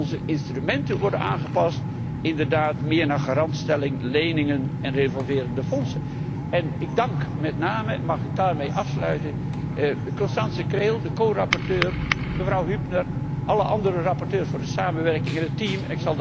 En onze instrumenten worden aangepast inderdaad meer naar garantstelling, leningen en revolverende fondsen. Ik dank met name mag ik daarmee afsluiten Constanze Krehl, mijn corapporteur, mevrouw Hübner en alle andere rapporteurs voor de samenwerking, en het team.